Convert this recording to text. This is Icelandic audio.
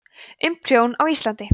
um prjón á íslandi